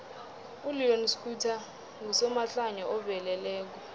uleon schuster ngusomahlaya oveleleko